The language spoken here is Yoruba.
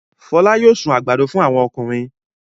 Fọlá yóò sun àgbàdo fún àwọn ọkùnrin.